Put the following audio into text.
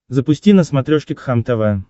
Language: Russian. запусти на смотрешке кхлм тв